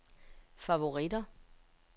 favoritter